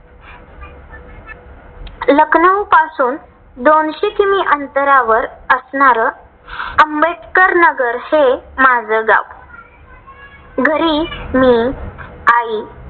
लखनऊ पासून दोनशे किलोमीटर अंतरावर असणार, आंबेडकर नगर हे माझं गाव. घरी मी आई